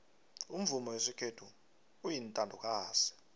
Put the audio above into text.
umvumo wesikhethu uyintandokazi